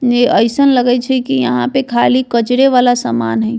इ अइसन लगय छै की यहाँ पे खाली कचरे वाला सामान है।